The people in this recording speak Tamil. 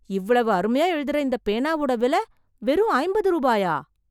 இவ்வளவு அருமையா எழுதுற இந்தப் பேனாவோட விலை வெறும் அம்பது ரூபாயா!